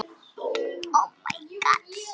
Hvernig líður konu þinni?